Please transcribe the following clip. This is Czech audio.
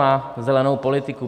Na zelenou politiku.